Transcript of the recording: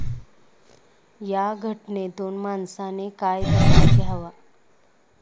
या घटनेतून माणसाने काय धडा घ्यावा?